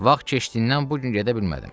Vaxt keçdiyindən bu gün gedə bilmədim.